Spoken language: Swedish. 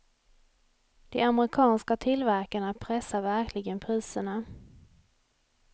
De amerikanska tillverkarna pressar verkligen priserna.